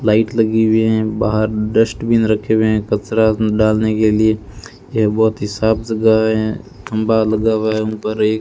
light लगी हुए हैं बाहर डस्टबिन रखे हुए हैं कचरा डालने के लिए यह बहोत ही साफ जगह है खंभा लगा हुआ है उन पर एक --